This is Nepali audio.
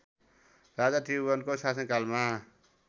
राजा त्रिभुवनको शासनकालमा